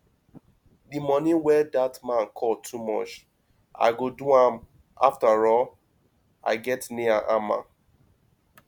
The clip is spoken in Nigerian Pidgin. the money wey dat man call too much i go do am afterall i get nail and hammer